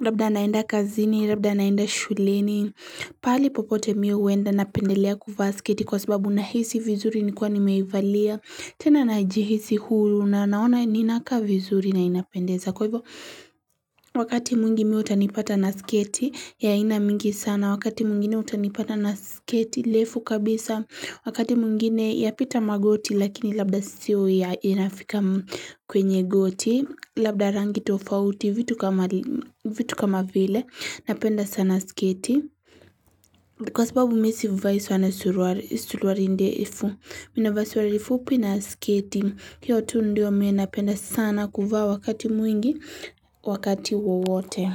labda naenda kazini labda naenda shuleni pahali popote mimi huenda napendelea kuvaa sketi kwa sababu nahisi vizuri nikiwa nimeivalia tena najihisi huru na naona ninakaa vizuri na inapendeza. Kwa hivyo, wakati mwingi mimi utanipata na sketi, ya aina mingi sana, wakati mwingine utanipata na sketi, refu kabisa, wakati mwingine yapita magoti, lakini labda sio ya inafika kwenye goti, labda rangi tofauti, vitu kama vile, napenda sana sketi. Kwa sababu mimi sivai sana suruali ndefu mimi navaa suruali fupi na sketi hio tu ndio mimi napenda sana kuvaa wakati mwingi wakati wowote.